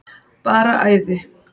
Bara æði.